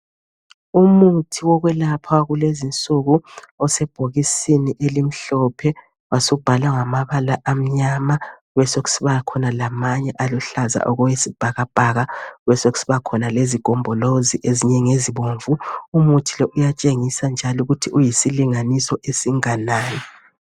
Umuthi wokwelapha wakulezi nsuku osebhokisini elimhlophe wasubhalwa ngamabala amnyama besokusiba khona lamanye aluhlaza okwesibhakabhaka besokusiba khona lezigombolozi ezibomvu umuthi lo uyatshengisa njalo ukuthi uyisilinganiso esinganani.